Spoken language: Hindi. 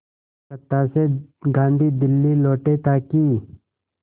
कलकत्ता से गांधी दिल्ली लौटे ताकि